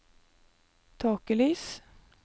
tåkelys